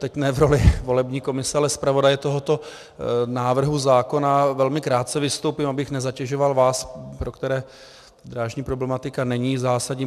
Teď ne v roli volební komise, ale zpravodaje tohoto návrhu zákona velmi krátce vystoupím, abych nezatěžoval vás, pro které drážní problematika není zásadní.